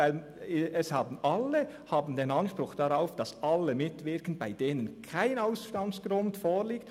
Denn es haben alle den Anspruch darauf, dass alle mitwirken können, bei denen kein Ausstandsgrund vorliegt.